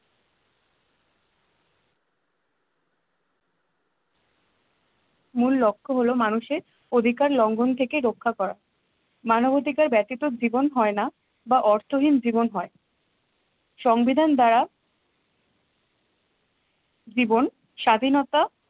মূল লক্ষ্য হলো মানুষের অধিকার লঙ্ঘন থেকে রক্ষা করা মানবাধিকার ব্যতীত জীবন হয় না বা অর্থহীন জীবন হয়। সংবিধান দ্বারা জীবন স্বাধীনতা